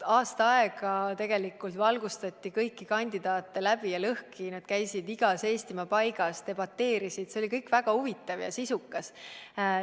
Aasta aega tegelikult valgustati kõiki kandidaate läbi ja lõhki, nad käisid igas Eestimaa paigas, debateerisid – see oli kõik väga huvitav ja sisukas.